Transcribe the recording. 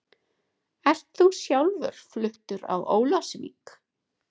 Ert þú sjálfur fluttur á Ólafsvík?